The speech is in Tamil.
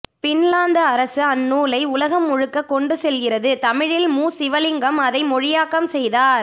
பின்லாந்து அரசு அந்நூலை உலகம் முழுக்க கொண்டு செல்கிறது தமிழில் மு சிவலிங்கம் அதை மொழியாக்கம் செய்தார்